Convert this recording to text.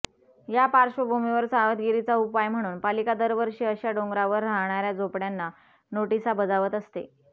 या पार्श्वभूमीवर सावधगिरीचा उपाय म्हणून पालिका दरवर्षी अशा डोंगरावर राहणाऱया झोपडय़ांना नोटिसा बजावत असते